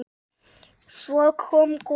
Svo kom gosið!